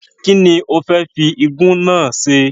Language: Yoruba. Kínni o fẹ́ fi igún náà se?